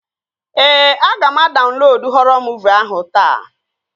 Ee, aga m adaunlodu họrọ muuvi ahụ taata